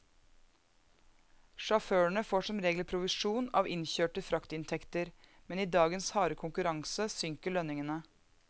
Sjåførene får som regel provisjon av innkjørte fraktinntekter, men i dagens harde konkurranse synker lønningene.